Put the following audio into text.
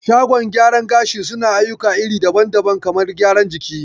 Shagon gyaran gashi suna ayyuka iri daban daban, kamar gyaran jiki